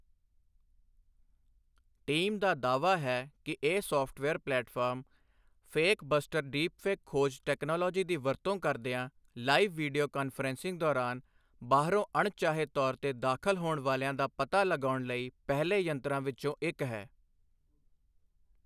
Team ਦਾ ਦਾਅਵਾ ਹੈ ਕਿ ਇਹ software platform fake buster deepfakes ਖੋਜ ਟੈਕਨੋਲੋਜੀ ਦੀ ਵਰਤੋਂ ਕਰਦਿਆਂ ਲਾਈਵ ਵੀਡੀਓ ਕਾਨਫਰੰਸਿੰਗ ਦੌਰਾਨ ਬਾਹਰੋਂ ਅਣਚਾਹੇ ਤੌਰ ਤੇ ਦਾਖ਼ਲ ਹੋਣ ਵਾਲਿਆਂ ਦਾ ਪਤਾ ਲਗਾਉਣ ਲਈ ਪਹਿਲੇ ਯੰਤਰਾਂ ਵਿੱਚੋਂ ਇੱਕ ਹੈ।